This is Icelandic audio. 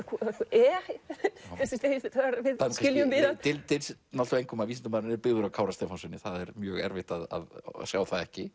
e þegar við skiljum við hann dylst engum að vísindamaðurinn er byggður á Kára Stefánssyni það er mjög erfitt að sjá það ekki